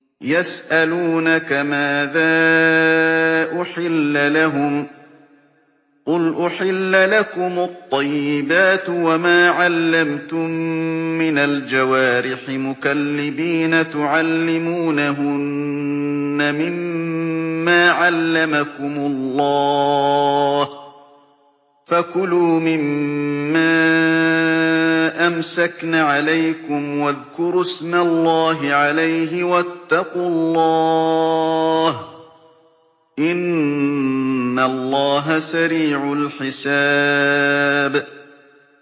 يَسْأَلُونَكَ مَاذَا أُحِلَّ لَهُمْ ۖ قُلْ أُحِلَّ لَكُمُ الطَّيِّبَاتُ ۙ وَمَا عَلَّمْتُم مِّنَ الْجَوَارِحِ مُكَلِّبِينَ تُعَلِّمُونَهُنَّ مِمَّا عَلَّمَكُمُ اللَّهُ ۖ فَكُلُوا مِمَّا أَمْسَكْنَ عَلَيْكُمْ وَاذْكُرُوا اسْمَ اللَّهِ عَلَيْهِ ۖ وَاتَّقُوا اللَّهَ ۚ إِنَّ اللَّهَ سَرِيعُ الْحِسَابِ